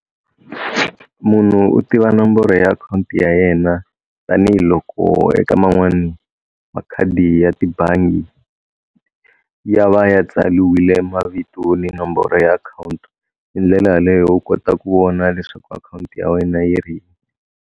Munhu u tiva nomboro ya akhawunti ya yena tanihiloko eka man'wani makhadi ya tibangi ya va ya tsaliwile mavito ni nomboro ya akhawunti hi ndlela yaleyo u kota ku vona leswaku akhawunti ya wena yi .